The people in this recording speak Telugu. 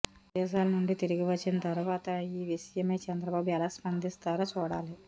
విదేశాల నుండి తిరిగి వచ్చిన తర్వాత ఈ విషయమై చంద్రబాబు ఎలా స్పందిస్తారో చూడాలి